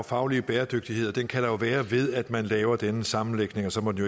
faglige bæredygtighed og den kan der være ved at man laver denne sammenlægning og så må det